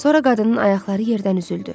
Sonra qadının ayaqları yerdən üzüldü.